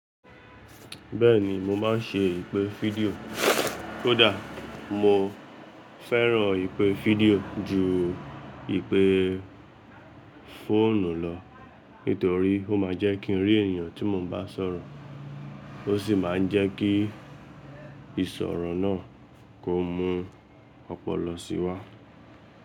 Bẹ́ẹ̀ni mo máa ń ṣe ìpè fídíò. Kódà mo fẹ́ràn ìpè fídíò ju ìpè fóònù lọ nítorí ó máa ń jẹ́ kí ń rí èèyàn tí mo bá sọ̀rọ̀ ó sì máa ń jẹ́ kí ìsọ̀rọ̀ náà kó mú ọ̀pọ̀lọ sí wá.